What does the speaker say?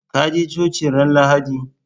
Ka je coci ran lahadi?